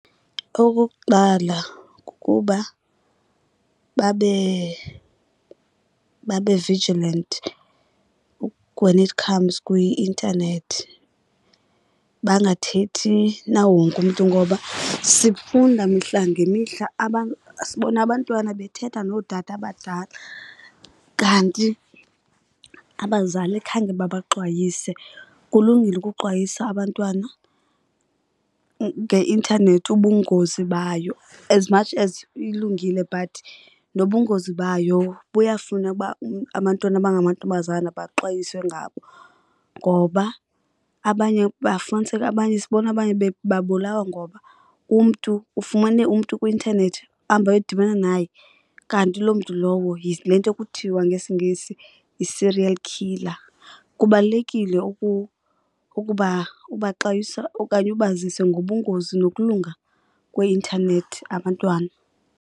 Okokuqala, kukuba babe babe vigilant when it comes kwi-intanethi bangathethi nawo wonke umntu. Ngoba sifunda mihla ngemihla , sibona abantwana bethetha nootata abadala kanti abazali khange babaxwayise. Kulungile ukuxwayisa abantwana ngeintanethi ubungozi bayo. As much as ilungile but nobungozi bayo buyafuna uba abantwana abangamantombazana baxwayiswe ngabo. Ngoba abanye bafumaniseke abanye, sibona abanye bebulawa ngoba umntu ufumane umntu kwi-intanethi ahambe ayodibana naye, kanti loo mntu lowo yile nto kuthiwa ngesiNgesi yi-serial killer. Kubalulekile ukuba ubaxwayisa okanye ubazise ngobungozi nokulunga kweintanethi abantwana.